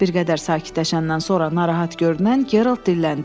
Bir qədər sakitləşəndən sonra narahat görünən Geralt dilləndi.